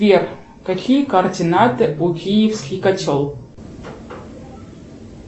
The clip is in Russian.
сбер какие координаты у киевский котел